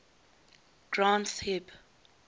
granth hib